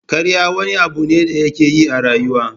Ƙarya wani abu ne da yake yi a rayuwa.